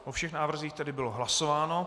O všech návrzích tedy bylo hlasováno.